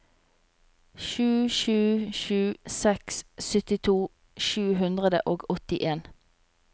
sju sju sju seks syttito sju hundre og åttien